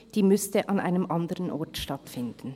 Eine solche müsste an einem anderen Ort stattfinden.